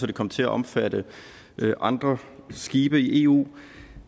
det kom til at omfatte andre skibe i eu